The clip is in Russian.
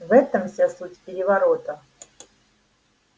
в этом вся суть переворота